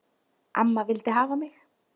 Amma vildi hafa mig.